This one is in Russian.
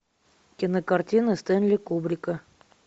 кинокартина стэнли кубрика